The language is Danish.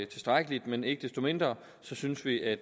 tilstrækkeligt men ikke desto mindre synes vi at